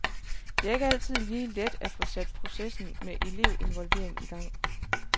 Det er ikke altid lige let at få sat processen med elev-involvering i gang.